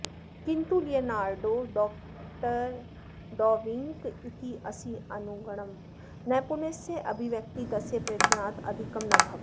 किन्तु Leonardo da Vinci इत्यस्यानुगुणं नैपुण्यस्य अभिव्यक्तिः तस्य प्रयत्नात् अधिकं न भवति इति